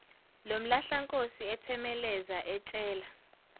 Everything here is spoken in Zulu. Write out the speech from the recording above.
lomlahlankosi ethemeleza etshela